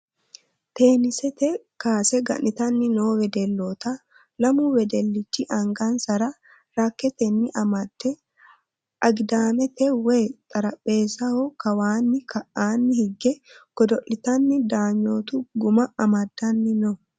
Teennisete kaase ga'nitanni noo wedelloota. Lamu wedellichi angansara rakkeette amadde agidaamete woyi xarapheezzaho kawanna ka"aanni higge godo'litanna daanyootu guma amaddani no.